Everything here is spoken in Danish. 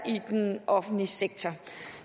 i den offentlige sektor